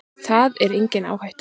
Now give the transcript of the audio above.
Það er engin áhætta.